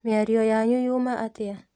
Mĩario yanyu yuma atĩa